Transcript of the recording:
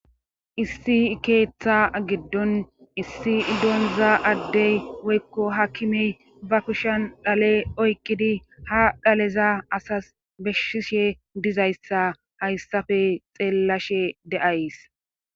Isissikeetha giddon issi idonza addey woykko hakime ba kushan dhale oykqidi ha dhaleza asas beshshishe dizayssa hayssafe xeellashe de7ays.